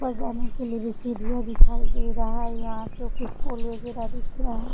ऊपर जाने के लिए भी सीढ़ियां दिखाई दे रहा है। यहाँ पे कुछ फूल वैगेरा दिख रहा --